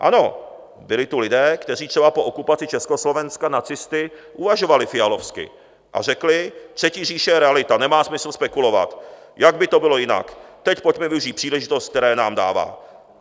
Ano, byli tu lidé, kteří třeba po okupaci Československa nacisty uvažovali fialovsky a řekli: Třetí říše je realita, nemá smysl spekulovat, jak by to bylo jinak, teď pojďme využít příležitost, které nám dává.